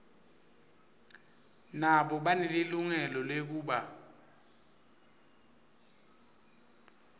nabo banelilungelo lekuba